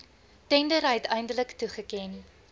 tender uiteindelik toegeken